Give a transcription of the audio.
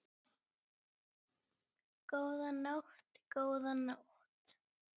Góða nótt, góða nótt.